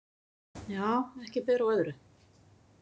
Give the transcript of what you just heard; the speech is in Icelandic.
Já, ekki ber á öðru.